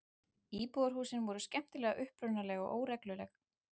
Íbúðarhúsin voru skemmtilega upprunaleg og óregluleg.